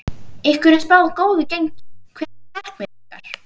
Ykkur er spáð góðu gengi, hver eru markmið ykkar?